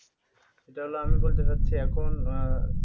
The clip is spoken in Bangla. ওটা হল আমি বলতে চাচ্ছি এখন আহ